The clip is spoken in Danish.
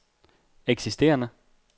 eksisterende